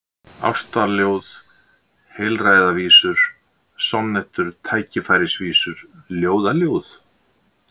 Ástaljóð, heilræðavísur, sonnettur, tækifærisvísur, ljóðaljóð?